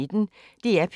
DR P1